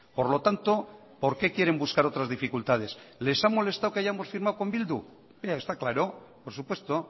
por lo tanto por qué quieren buscar otras dificultades les ha molestado que hayamos firmado con bildu está claro por supuesto